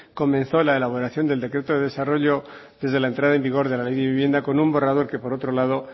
comenzó la elaboración del decreto de desarrollo desde la entrada en vigor de la ley de vivienda con un borrador que por otro lado